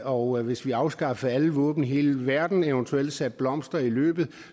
og hvis vi afskaffede alle våben i hele verden og eventuelt satte blomster i løbet